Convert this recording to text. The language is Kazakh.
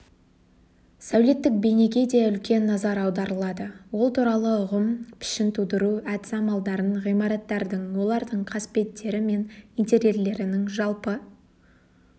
сәулеттік бейнеге де үлкен назар аударылады ол туралы ұғым пішін тудыру әдіс-амалдарын ғимараттардың олардың қасбеттері мен интерьерлерінің жалпы